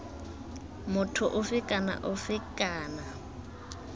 motho ofe kana ofe kana